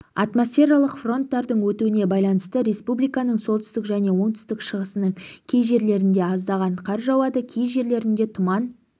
атмосфералық фронттардың өтуіне байланысты республиканың солтүстік және оңтүстік-шығысының кей жерлерінде аздаған қар жауады кей жерлерде тұман